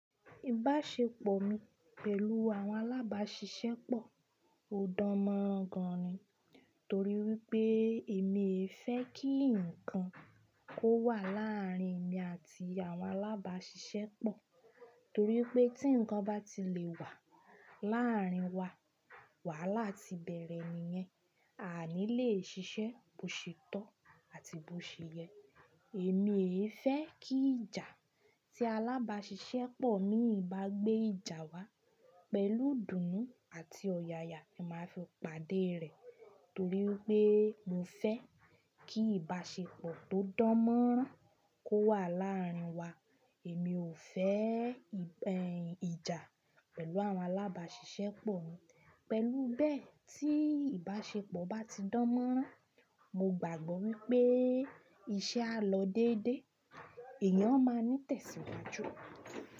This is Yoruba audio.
Ìbáṣepọ̀ mi pẹ̀lú àwọn alábàáṣiṣẹ́ pọ̀ ò dánmọ́ran gan ni. Torí wípé èmi fẹ́ kí ǹkan kó wà láàrin èmi àti àwọn alábáṣiṣẹ́ pọ̀. Torí pé tí ǹkan bá ti lè wà láàrin wa, wàhálà ti bẹ̀rẹ̀ nìyẹn, a ní lè ṣiṣẹ́ bó ṣètọ́ àti bó ṣe yẹ. Èmi fẹ́ kí ìjà tí alábáṣiṣẹ́ pọ̀ mi bá gbé ìjà wá pẹ̀lú ìdùnnú àti ọ̀yàyà, èmi máa fi pàdé rẹ̀. Torí wípé mo fẹ́ kí ìbáṣepọ̀ tó dánmọ́ran kó wà láàrin wa. Èmi ò fẹ́ gbin ìjà pẹ̀lú àwọn alábáṣiṣẹ́ pọ̀ mi. Pẹ̀lú bẹ́ẹ̀ tí ìbáṣepọ̀ bá ti dánmọ́ran, mo gbàgbọ́ wípé iṣẹ́ á lọ déédé, èèyàn máa ní tẹ̀síwájú.